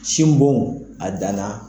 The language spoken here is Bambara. Sinbo a danna.